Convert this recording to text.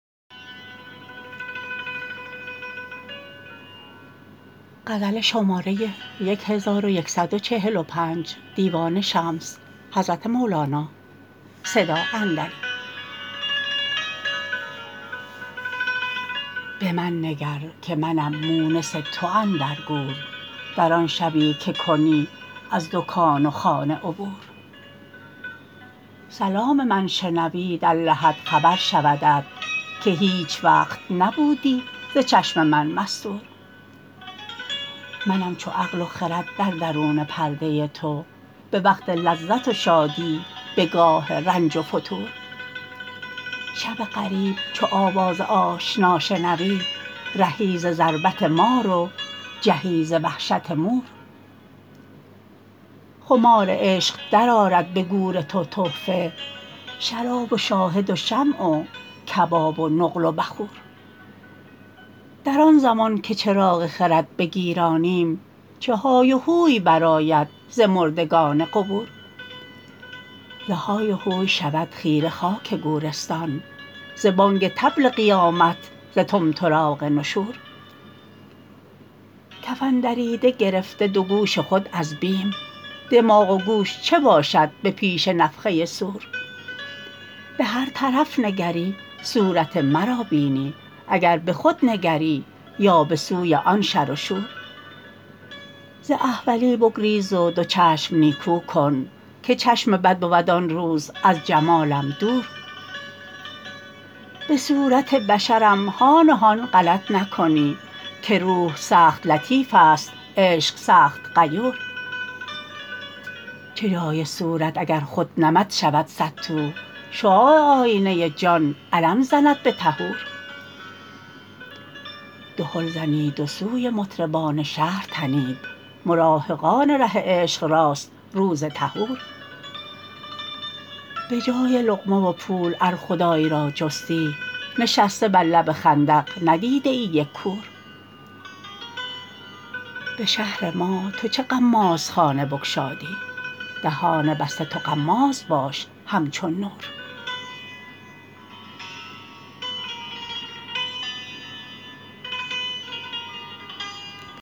به من نگر که منم مونس تو اندر گور در آن شبی که کنی از دکان و خانه عبور سلام من شنوی در لحد خبر شودت که هیچ وقت نبودی ز چشم من مستور منم چو عقل و خرد در درون پرده تو به وقت لذت و شادی به گاه رنج و فتور شب غریب چو آواز آشنا شنوی رهی ز ضربت مار و جهی ز وحشت مور خمار عشق درآرد به گور تو تحفه شراب و شاهد و شمع و کباب و نقل و بخور در آن زمان که چراغ خرد بگیرانیم چه های و هوی برآید ز مردگان قبور ز های و هوی شود خیره خاک گورستان ز بانگ طبل قیامت ز طمطراق نشور کفن دریده گرفته دو گوش خود از بیم دماغ و گوش چه باشد به پیش نفخه صور به هر طرف نگری صورت مرا بینی اگر به خود نگری یا به سوی آن شر و شور ز احولی بگریز و دو چشم نیکو کن که چشم بد بود آن روز از جمالم دور به صورت بشرم هان و هان غلط نکنی که روح سخت لطیفست عشق سخت غیور چه جای صورت اگر خود نمد شود صدتو شعاع آینه جان علم زند به ظهور دهل زنید و سوی مطربان شهر تنید مراهقان ره عشق راست روز ظهور به جای لقمه و پول ار خدای را جستی نشسته بر لب خندق ندیدیی یک کور به شهر ما تو چه غمازخانه بگشادی دهان بسته تو غماز باش همچون نور